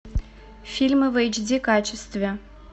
фильмы в эйч ди качестве